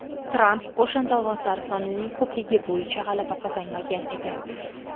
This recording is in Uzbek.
Tramp o‘shanda ovozlar sonining ko‘pligi bo‘yicha g‘alaba qozonmagan edi.